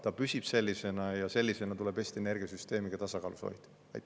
Ta püsib vaid sellisena ja sellisena tuleb Eesti energiasüsteemi ka tasakaalus hoida.